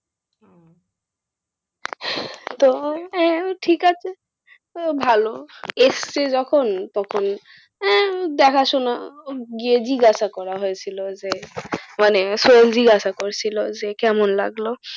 ঠিক আছে, ভালো এসেছে যখন তখন আহ দেখাশোনা গিয়ে জিজ্ঞাসা করা হয়েছিল যে, মানে সোহেল জিজ্ঞাসা করসিল কেমন লাগলো?